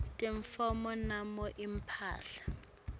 tintfo noma imphahla